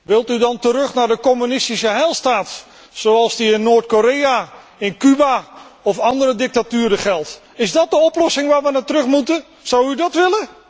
Wilt u dan terug naar de communistische heilstaat, zoals die in Noord Korea, in Cuba of andere dictaturen geldt? Is dat de oplossing waarnaar we terug moeten, zou u dat willen?